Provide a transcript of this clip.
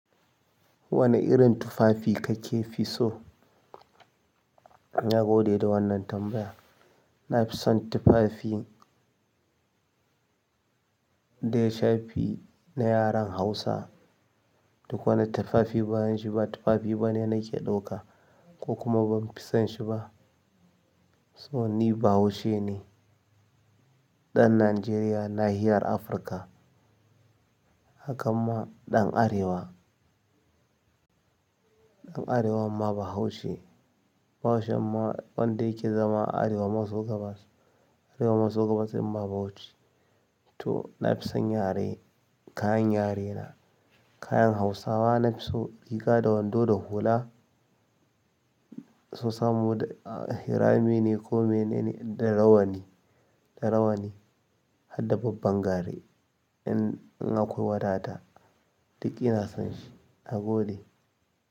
Wane irin tufafi kake fi so? Na gode da wannan tambaya. Na fi son tufafi da ya shafi na yaren Hausa. Duk wani tufafi bayan shi ba tufafi bane nake ɗauka ko kuma ban fi son shi ba. So ni Bahaushe ne, ɗan Najeriya, nahiyar Afirka. Haka ma ɗan Arewa. Ɗan arewan ma bahaushe ne. Bahaushen ma wanda yake zama a arewa maso gabas, arewa maso gabas ɗinma Bauchi. To na fi son yare, kayan yare na. Kayan Hausawa na fi so, riga da wando da hula su samo hirame ne ko mene ne da rawani, da rawani har da babban gare in akwai wadata. Duk ina son shi. Na gode.